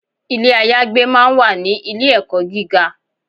Ilé ayagbé máa ń wà ní ilé ẹ̀kọ́ gíga.